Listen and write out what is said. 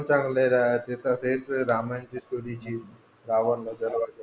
रामन चे रावण ला जलवायचे